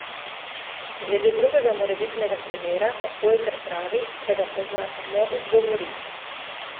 Glede drugega morebitnega primera pa hojker pravi, da ga pozna samo iz govoric.